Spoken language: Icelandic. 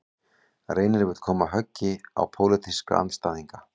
Reynir vill koma höggi á pólitíska andstæðinga